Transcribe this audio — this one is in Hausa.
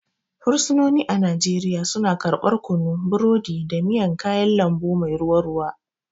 Fursunoni a Najeriya suna karɓar kunu, burodi, da miyan kayan lambu mai ruwa ruwa.